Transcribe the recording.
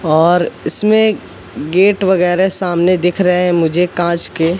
और इसमे गेट वगैरा सामने दिख रहा है मुझे कांच के--